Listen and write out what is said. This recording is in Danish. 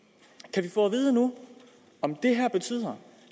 kan vi få at vide nu om det her betyder